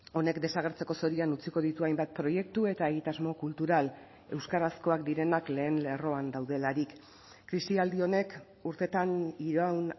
honek desagertzeko zorian utziko ditu hainbat proiektu eta egitasmo kultural euskarazkoak direnak lehen lerroan daudelarik krisialdi honek urteetan iraun